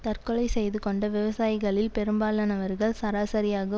தற்கொலை செய்து கொண்ட விவசாயிகளில் பெரும்பாலானவர்கள் சராசரியாக